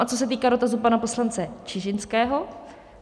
A co se týká dotazu pana poslance Čižinského.